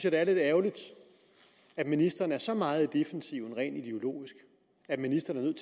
at det er lidt ærgerligt at ministeren er så meget i defensiven rent ideologisk at ministeren